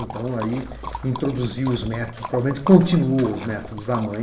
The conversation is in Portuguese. Então aí introduziu os métodos, provavelmente continuou os métodos da mãe.